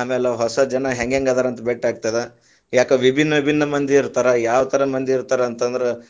ಅಮ್ಯಾಲ್ ಹೊಸ ಜನ ಹೆಂಗ್ಹೆಂಗ್ ಅದಾರಂತ ಬೆಟ್ ಆಗ್ತದ, ಯಾಕ ವಿಭಿನ್ನ ವಿಭಿನ್ನ ಮಂದಿ ಇರ್ತಾರ ಯಾವತರ ಮಂದಿರ್ತಾರಂತಂದ್ರ.